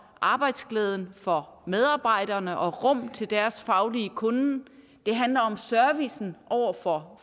arbejdsglæden for medarbejderne og rummet til deres faglige kunnen det handler om servicen over for